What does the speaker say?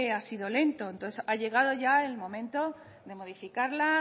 ha sido lento entonces ha llegado el momento de modificarla